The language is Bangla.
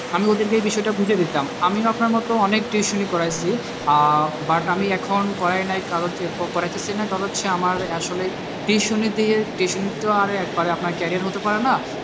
আমি ওদেরকেই বিষয়টা বুঝিয়ে দিতাম আমিও আপনার মতো অনেক tuition ই করেছি আহ but আমি এখন করাই নাই কারোকে করাইতেছিনা কারণ হচ্ছে আমার আসলে tuition ই দিয়ে tuition তো আর একবারে career হতে পারে না